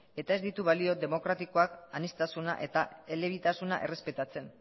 eta ez ditu balio demokratikoak aniztasuna eta elebitasuna errespetatzen